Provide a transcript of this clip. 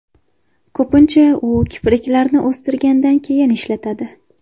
Ko‘pincha u kipriklarni o‘stirgandan keyin ishlatiladi.